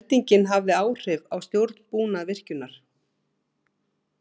Eldingin hafði áhrif á stjórnbúnað virkjunar